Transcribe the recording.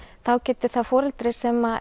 þá getur það foreldri sem